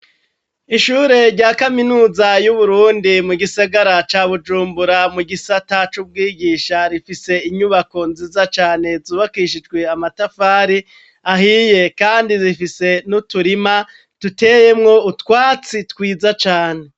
Ishure rya kaminuza y'Uburundi mu gisagara ca Bujumbura mu gisatac'ubwigisha rifise inyubako nziza cane zubakishijwe amatafari ahiye kandi zifise n'uturima tuteyemwo utwatsi twiza cane.